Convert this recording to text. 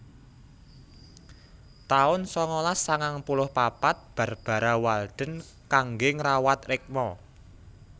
taun sangalas sangang puluh papat Barbara Walden kangge ngrawat rikma